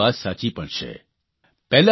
અપર્ણાજીની વાત સાચી પણ છે